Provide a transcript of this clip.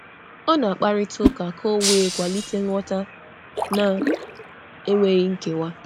Ọ na-akọwa okwu um n’ụzọ meghe, ka e wee um nwee nghọta um na-enweghị ime ka e kewaa.